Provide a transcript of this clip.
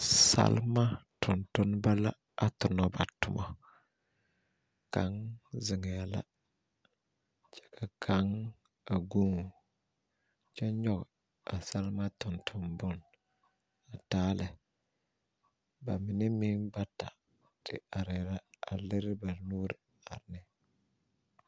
Salma tontonba la a tona ba tomo. Kang zeŋɛ la kyɛ ka kaŋ a guun kyɛ yoɔg a salma tontonbon a taa lɛ. Ba mene meŋ bata te areɛ la a lire ba nuure are neŋ